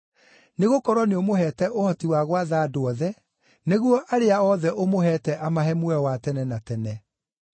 Nĩgũkorwo nĩũmũheete ũhoti wa gwatha andũ othe, nĩguo arĩa othe ũmũheete amahe muoyo wa tene na tene.